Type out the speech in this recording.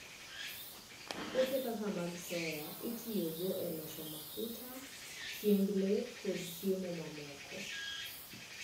Puothe kaka mag soya itiyogo e loso mafuta, chiemb le, kod chiemo mamoko.